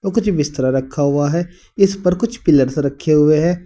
कुछ बिस्तरा रखा हुआ है इस पर कुछ पिलर्स रखे हुए हैं।